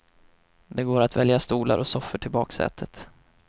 Det går att välja stolar och soffor till baksätet.